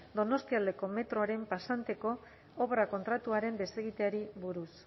donostialdeko metroaren pasanteko obra kontratuaren desegiteari buruz